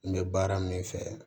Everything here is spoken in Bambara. N bɛ baara min fɛ